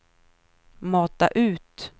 mata ut